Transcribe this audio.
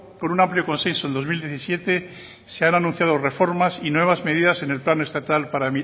por un amplio consenso en dos mil diecisiete se han anunciado reformas y nuevas medidas en el plan estatal para